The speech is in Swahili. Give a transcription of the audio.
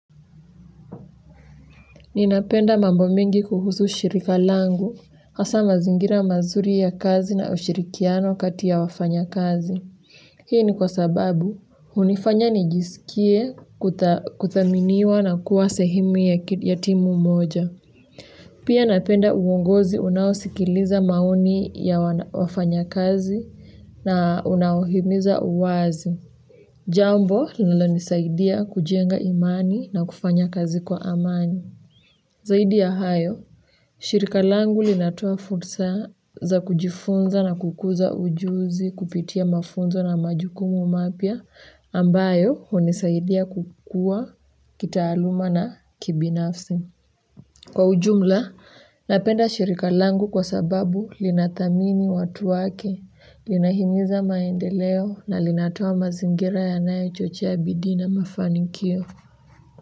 Ninapenda mambo mengi kuhusu shirika langu, hasa mazingira mazuri ya kazi na ushirikiano kati ya wafanyakazi. Hii ni kwa sababu, unifanya nijiskie kuthaminiwa na kuwa sehemu ya timu moja. Pia napenda uongozi unao sikiliza maoni ya wafanyakazi na unao himiza uwazi. Jambo, linalo nisaidia kujenga imani na kufanya kazi kwa amani. Zaidi ya hayo, shirika langu linatoa fursa za kujifunza na kukuza ujuzi kupitia mafunzo na majukumu mapya ambayo unisaidia kukua kitaaluma na kibinafsi. Kwa ujumla, napenda shirika langu kwa sababu linathamini watu wake, linahimiza maendeleo na linatoa mazingira yanayo chochea bidii na mafanikio.